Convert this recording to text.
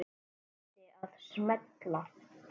Svo átti að smella.